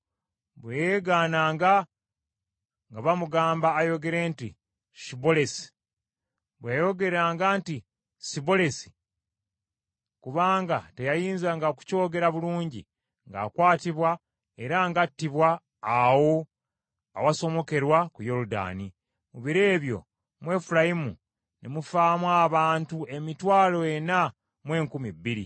Bwe yeegananga, nga bamugamba ayogere nti, “Shibbolesi.” Bwe yayogeranga nti, “Sibbolesi,” kubanga teyayinzanga kukyogera bulungi, ng’akwatibwa era ng’attibwa awo awasomokerwa ku Yoludaani. Mu biro ebyo, mu Efulayimu ne mufaamu abantu emitwalo ena mu enkumi bbiri.